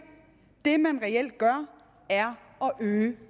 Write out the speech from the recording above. det man reelt gør er at øge